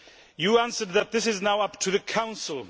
You answered that this is now up to the Council.